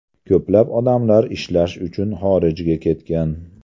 Ko‘plab odamlar ishlash uchun xorijga ketgan.